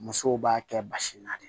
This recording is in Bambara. Musow b'a kɛ basi na de